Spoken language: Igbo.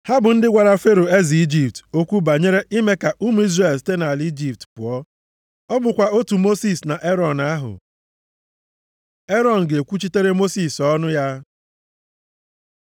Ha bụ ndị gwara Fero, eze Ijipt okwu banyere ime ka ụmụ Izrel site nʼala Ijipt pụọ. Ọ bụkwa otu Mosis na Erọn ahụ. Erọn ga-ekwuchitere Mosis ọnụ ya